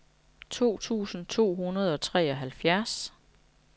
to tusind to hundrede og treoghalvfjerds